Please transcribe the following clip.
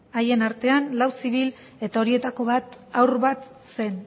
haien artean lau zibil eta horietako bat haur bat zen